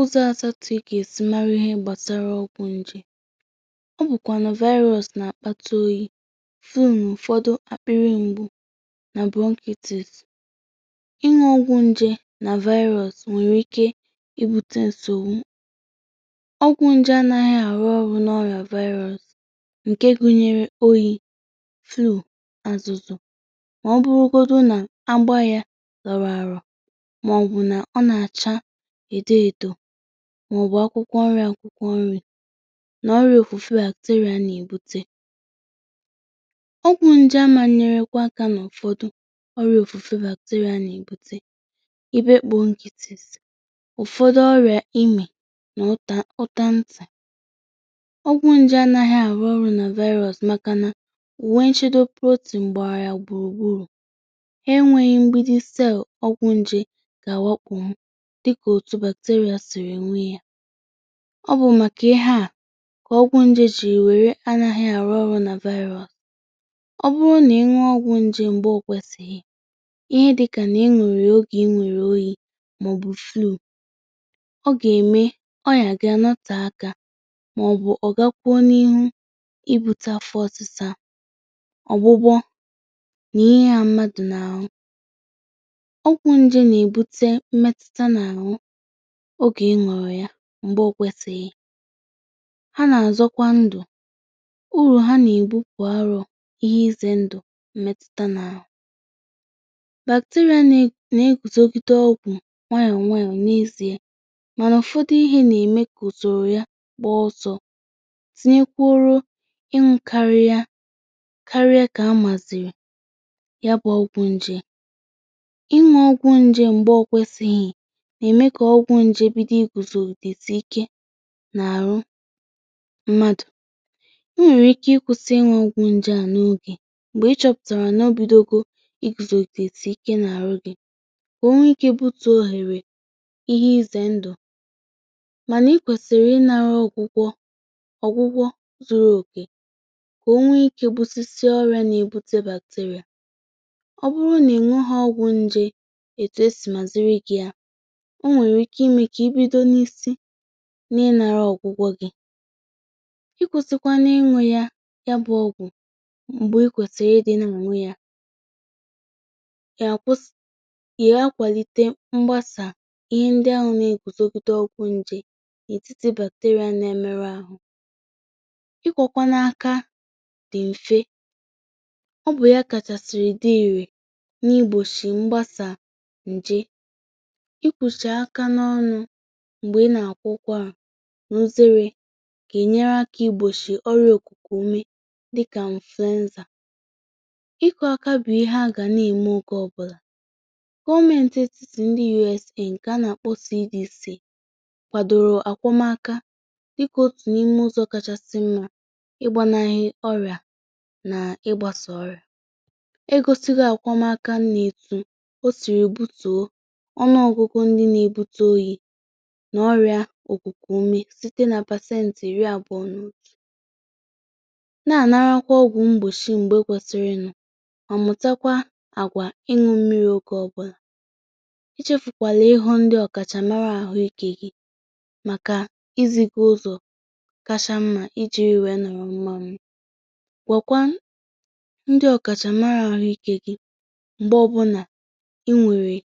Ụzọ asatụ ike esi mara ihe gbasara ọgwụ nje. Ọ bụkwa virus n’akpata oyi fun ụfọdụ àkpịrị mgbu na bronchitis. Ịṅa ọgwụ nje na virus nwere ike ibute nsọ; ọgwụ nje anaghị arụ ọrụ n’ọrụ na virus, nke gụnyere oyi, flụ, azụzụ, ma ọ bụ ọbụna na agba. Ya zọrọ àrọ edo edo maọbụ akwụkwọ nrị. Akwụkwọ nrị na ọrịa ofufe bakutere nwere ike ibute ọrịa, na-ebute ọrịa dị iche iche dịka ọrịa ime na uta uta ntị. Ọgwụ nje anaghị arụ ọrụ na virus maka na virus enweghi mgbidi cell dịka bacteria. Bacteria nwere mgbidi cell ebe ọgwụ nje na-ejikarị arụ ọrụ, mana virus na-eji protein gbagara agburu. Ọ bụrụ na ị ṅụọ ọgwụ nje mgbe ọ dịghị mkpa, dịka mgbe ị nwere oyi maọbụ flu, ọ nwere ike ime ka ahụ gị nọta ọgwụ ahụ. Ọ pụkwara ime ka ọ gakwuru n'ihu ibute fosịsa ọrịa n’ahụ̀ mmadụ. Ịṅụ ọgwụ nje mgbe ọ gwesịghị na-eme ka ọgwụ nje ghọọ ihe ahụ jighị arụ ọrụ, n’ihi na bacteria na-amụta ịguzogide ya nwayọ nwayọ. Ụfọdụ ihe na-eme ka usoro ya kpọọsọ: tinyekwara ị mkariya karịa ka a maziri ya bụ ọgwụ nje. Ịṅụ ọgwụ nje mgbe ọ gwesịghị na-eme ka ọgwụ nje bido iguzo esi ike na-arụ mmadụ. E nwere ike ịkwụsị inwe ọgwụ nje a n’oge, ma ọ bụrụ na ịchọpụtara na ọ bido iguzo esi ike na-arụ gị, ka o nwee ike bute ohere ihe ije ndụ. Mana, ị kwesiri ịnara ọgwụgwọ zuru oke ka o nwee ike busisi ọrịa na-ebute bacteria, ọ bụrụ na inwe ha. Ọgwụ nje kwesịrị iziri gị otu esi ya; o nwere ike ime ka ị bido na isi na-ịṅara ọgwụgwọ gị, ikwusikwa ịṅụ ya bụ ọgwụ mgbe i kwesiri ịdị na-azụ ya. Kwụsịrị ịṅụ ọgwụ nje na-enweghị isi, ọ bụghị naanị na ọ bụghị irè, kamakwa ọ na-akwalite mgbasa ọgwụ nje ndị na-eguzogide ọgwụ. Ikwọ aka dị mfe bụ otu ụzọ kacha irè n’igbochi mgbasa nje. Mgbe ị na-akwọcha aka, n’ụzọ kwesịrị ekwesị, ị na-enyere aka igbochi ọrịa ikuku ume dịka flu. Nzacha ọkụ aka bụ ihe ga-eme oke ọbụla. Gọọmentị esị na United States kwadoro a kpọmkwem ụzọ dị mfe dị ka otu n'ime ụzọ kachasị mma iji gbochie ọrịa na ịgbasa ọrịa. A gọziri akpọmkwem na ọ na-akwalite àgwà ịṅụ mmiri oge ọ bụla, ichefu ọbụla, na ịhụ ndị ọkachamara na-ahụ ike gị maka ezi ndụ. Mgbe ọbụna inwere